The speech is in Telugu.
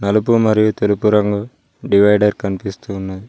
నలుపు మరియు తెలుపు రంగు డివైడర్ కనిపిస్తున్నది.